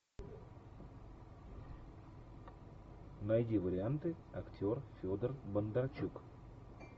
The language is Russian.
найди варианты актер федор бондарчук